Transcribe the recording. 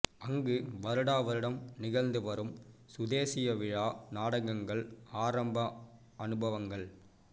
அங்கு வருடா வருடம் நிகழ்ந்து வரும் சுதேசிய விழா நாடகங்கள் ஆரம்ப அனுபவங்கள்